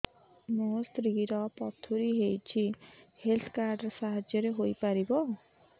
ମୋ ସ୍ତ୍ରୀ ର ପଥୁରୀ ହେଇଚି ହେଲ୍ଥ କାର୍ଡ ର ସାହାଯ୍ୟ ପାଇପାରିବି